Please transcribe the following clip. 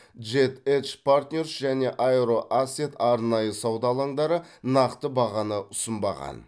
джет эдж партнерс және аэро асет арнайы сауда алаңдары нақты бағаны ұсынбаған